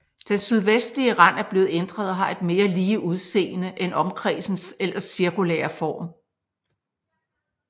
Den sydvestlige rand er blevet ændret og har et mere lige udseende end omkredsens ellers cirkulære form